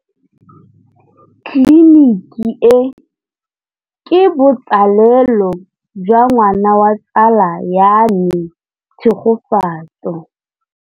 Tleliniki e, ke botsalêlô jwa ngwana wa tsala ya me Tshegofatso.